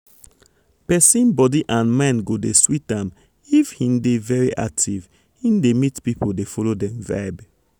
persin body and mind go dey sweet am if hin dey very active hin dey meet people dey follow dem vibe.